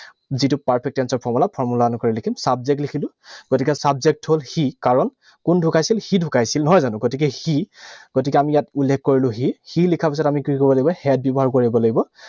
যিটো perfect tense ৰ formula, formula অনুসৰি লিখিম। Subject লিখিলো, গতিকে subject হল সি, কাৰণ কোন ঢুকাইছিল? সি ঢুকাইছিল, নহয় জানো? গতিকে সি, গতিকে ইয়াত আমি উল্লেখ কৰিলো সি। সি লিখাৰ পিছত আমি কি কৰিব লাগিব? Had ব্যৱহাৰ কৰিব লাগিব।